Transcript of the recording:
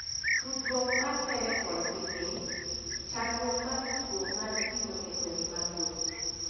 Tudruok mar Telephone gi Piny: Chandruok mag tudruok mar simo e gwenge maboyo.